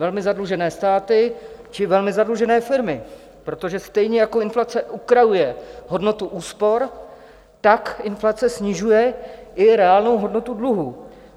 Velmi zadlužené státy či velmi zadlužené firmy, protože stejně jako inflace ukrajuje hodnotu úspor, tak inflace snižuje i reálnou hodnotu dluhů.